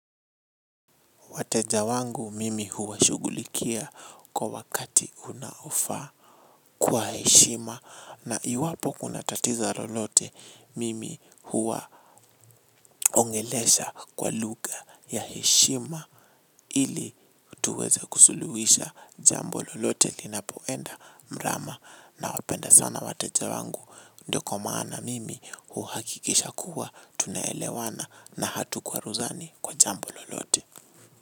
Wateja wangu mimi huwashughulikia kwa wakati unaofaa kwa heshima na iwapo kuna tatizo lolote mimi huwa ongelesha kwa lugha ya heshima ili tuweze kusuluhisha jambo lolote linapoenda mrama nawapenda sana wateja wangu ndio kwa maana mimi huhakikisha kuwa tunaelewana na hatukwaruzani kwa jambo lolote.